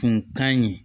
Kun ka ɲi